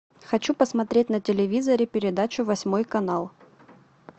хочу посмотреть на телевизоре передачу восьмой канал